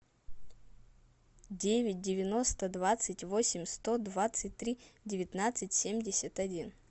девять девяносто двадцать восемь сто двадцать три девятнадцать семьдесят один